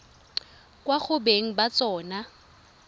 kwa go beng ba tsona